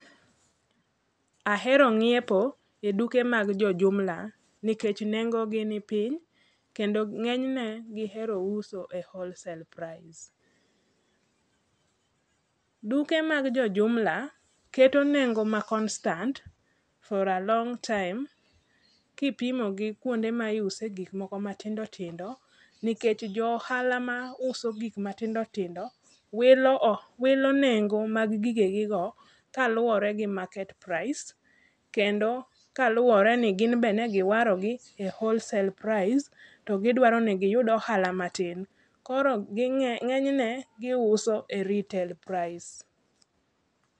Ahero ng'iepo e duke mag jo jumla nikech nengo gi ni piny kendo ng'enyne giero uso e wholesale price. Duke mag jo jumla keto nengo ma constant for a long time kipimo gi kuonde ma iuse gik moko matindo tindo, nikech jo ohala mauso gik matindo tindo wilo nengo mag gige gi go kaluwore gi market price kendo kaluwore ni gin be ne giwaro gi e wholesale price to gidwaro ni giyud ohala matin. Koro ng'enyne giuso e retail price.